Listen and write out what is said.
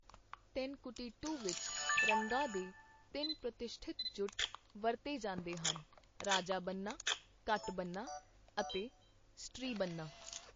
ਤੇਨਕੁਟੀਟੂ ਵਿੱਚ, ਰੰਗਾਂ ਦੇ ਤਿੰਨ ਪ੍ਰਤਿਸ਼ਠਿਤ ਜੁੱਟ ਵਰਤੇ ਜਾਂਦੇ ਹਨਃ ਰਾਜਾਬੰਨਾ, ਕਟਬੰਨਾ ਅਤੇ ਸਟ੍ਰੀਬੰਨਾ।